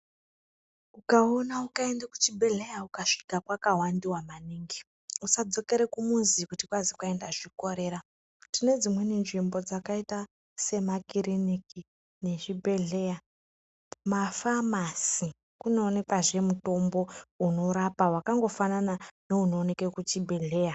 Ukaona ukaende kuchibhedleya ukasvika kwakawandiwa maningi, usadzokere kumuzi kuti kwazi kwai ndazvikorera. Tine dzimweni nzvimbo dzakaita semakiriniki nezvibhedhleya. Mafamasi kunoonekwazve mutombo unorapa wakangofanana neunooneke kuchibhedhleya.